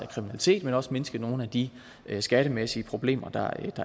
kriminalitet men også mindske nogle af de skattemæssige problemer der